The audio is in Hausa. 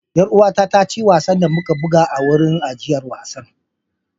Yar uwata ta ci wasan da muka buga a wurin ajiyar wasan.